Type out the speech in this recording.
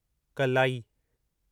कल्लाई